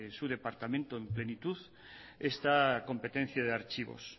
su departamento en plenitud esta competencia de archivos